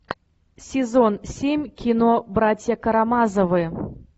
сезон семь кино братья карамазовы